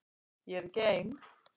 Og ég er ekki ein.